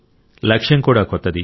లక్ష్యం కూడా కొత్తది